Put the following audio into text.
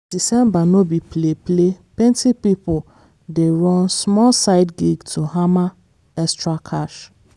december no be play-play plenty pipo dey run small side gig to hammer extra cash.